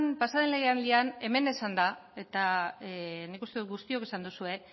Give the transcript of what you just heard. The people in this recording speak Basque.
pasaden legealdian hemen esan da eta nik uste dut guztiok esan duzuela